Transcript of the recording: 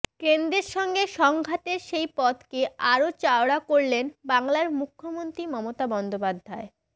কেন্দ্রের সঙ্গে সংঘাতের সেই পথকে আরও চওড়া করলেন বাংলার মুখ্যমন্ত্রী মমতা বন্দ্যোপাধ্যায়